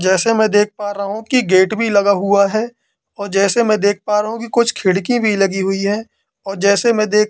जैसे में देख पा रहा हूँ कि गेट भी लगा हुआ है और जैसे की में देख पा रहा हूँ कुछ खिड़की भी लगी हुई है और जैसे में देख--